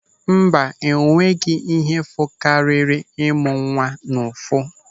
Mba, o nweghị ihe fụkariri ịmụ nwa n'ụfụ.